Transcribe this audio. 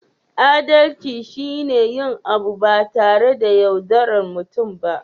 Adalci shi ne yin abu ba tare da yaudaran mutum ba